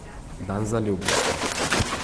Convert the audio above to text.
Dan zaljubljencev.